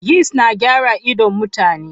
Yist na gyara idon mutane.